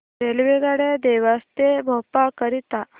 रेल्वेगाड्या देवास ते भोपाळ करीता